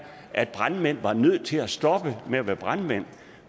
at brandmænd var nødt til at stoppe med at være brandmænd